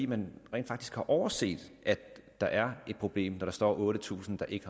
man rent faktisk har overset at der er et problem når der står otte tusind der ikke